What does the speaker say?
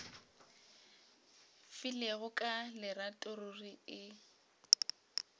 filego ka lerato ruri e